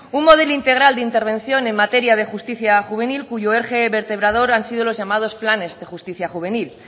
un modelo integral de intervención en materia de justicia juvenil cuyo eje vertebrador han sido los llamados planes de justicia juvenil